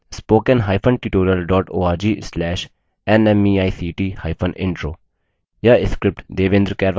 * spoken hyphen tutorial dot org slash nmeict hyphen intro